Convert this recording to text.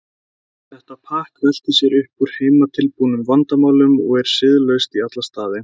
Þetta pakk veltir sér upp úr heimatilbúnum vandamálum og er siðlaust í alla staði.